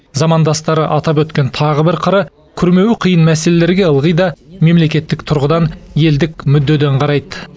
замандастары атап өткен тағы бір қыры күрмеуі қиын мәселелерге ылғи да мемлекеттік тұрғыдан елдік мүддеден қарайды